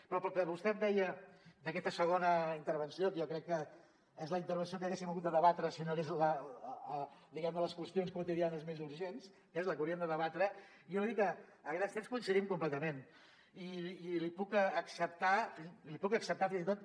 però pel que vostè em deia d’aquesta segona intervenció que jo crec que és la intervenció que haguéssim hagut de debatre si no hi hagués hagut diguem ne les qüestions quotidianes més urgents és la que hauríem de debatre jo li dic que a grans trets coincidim completament i li puc acceptar fins i tot